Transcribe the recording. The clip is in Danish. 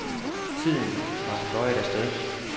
Tiden var fløjet af sted.